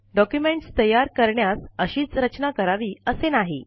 documents तयार करण्यास अशीच रचना करावी असे नाही